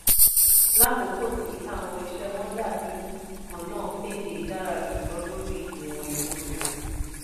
lákokò ti àwọn iṣé wọn dabi kanna payday dara julọ lori iwọn elo rẹ.